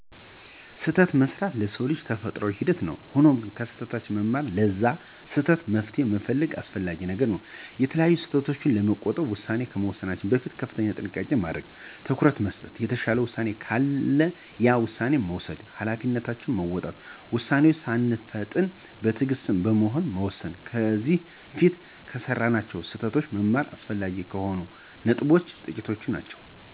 ስህተት መሥራት የሰው ልጅ ተፈጥሮአዊ ሂደት ነው። ሆኖም ከስህተታችን በመማር ለዛ ስህተት መፍትሄ መፈለግ አስፈላጊ ነገር ነው። ከተለያዩ ስህተቶች ለመቆጠብ ውሳኔ ከመወሰናችን በፊት ከፍተኛ ጥንቃቄ ማድረግ፣ ትኩረት መስጠት፣ የተሻለ ውሳኔ ካለ ያን ውሳኔ መውሰድ፣ ሀላፊነትን መወጣት፣ ውሳኔወችን ሳንፈጥን በትእግስት በመሆን መወሰን፣ ከዚ በፊት ከሰራናቸው ስህተቶች መማር አስፈላጊ ከሆኑት ነጥቦች ጥቂቶቹ ናቸው።